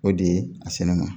O de ye a sɛnɛ ma